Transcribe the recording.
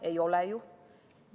Ei ole ju.